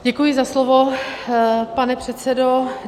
Děkuji za slovo, pane předsedo.